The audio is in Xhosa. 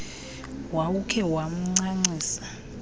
wawukhe wamnca ncisa